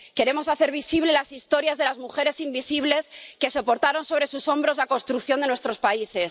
Queremos hacer visibles las historias de las mujeres invisibles que soportaron sobre sus hombros la construcción de nuestros países.